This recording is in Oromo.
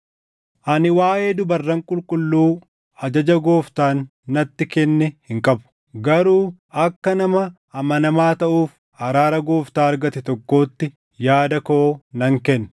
Ani waaʼee dubarran qulqulluu ajaja Gooftaan natti kenne hin qabu; garuu akka nama amanamaa taʼuuf araara Gooftaa argate tokkootti yaada koo nan kenna.